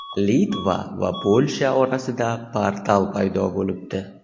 Litva va Polsha orasida "portal" paydo bo‘libdi.